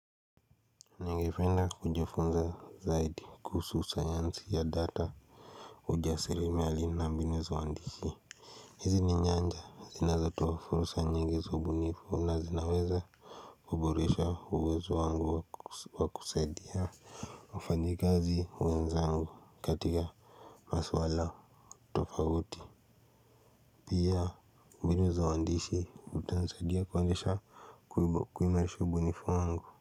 Ningependa kujifunza zaidi kuhusu sayansi ya data. Ujasiriamali na mbinu za uandishi. Hizi ni nyanja zinazoweza kutoa fursa nyingi za ubunifu na zinaweza kuboresha uwezo wangu wa kusaidia. Mfanyakazi wenzangu katika maswala tofauti. Pia mbinu za uandishi zitanisaidia kuonyesha kuimarisha ubunifu wangu.